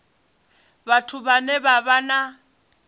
vhathu vhane vha vha na